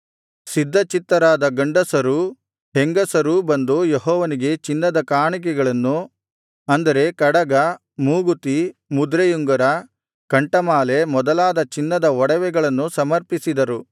ಸಿದ್ಧಚಿತ್ತರಾದ ಗಂಡಸರೂ ಹೆಂಗಸರೂ ಬಂದು ಯೆಹೋವನಿಗೆ ಚಿನ್ನದ ಕಾಣಿಕೆಗಳನ್ನು ಅಂದರೆ ಕಡಗ ಮೂಗುತಿ ಮುದ್ರೆಯುಂಗರ ಕಂಠಮಾಲೆ ಮೊದಲಾದ ಚಿನ್ನದ ಒಡವೆಗಳನ್ನು ಸಮರ್ಪಿಸಿದರು